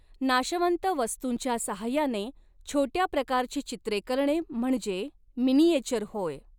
नाशवंत वस्तुंच्या साह्याने छोटया प्रकारची चित्रे करणे म्हणजे मिनीएचर होय.